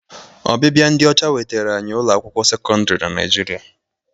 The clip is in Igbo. Ọbịbịa ndị ọcha wetara anyị ụlọ akwụkwọ sekọndịrị na Naịjirịa.